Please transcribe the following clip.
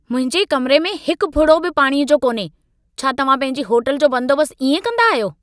मुंहिंजे कमिरे में हिक फुड़ो बि पाणीअ जो कोन्हे! छा तव्हां पंहिंजी होटल जो बंदोबस्त इएं कंदा आहियो?